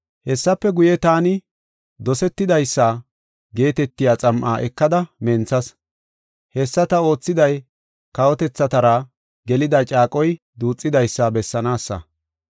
Hessafe guye, taani “Dosetidaysa” geetetiya xam7a ekada menthas. Hessa ta oothiday kawotethatara gelida caaqoy duuxidaysa bessanaasa.